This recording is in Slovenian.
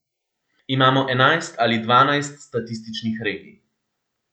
Imamo enajst ali dvanajst statističnih regij.